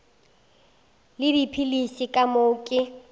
le dipilisi ka moo ke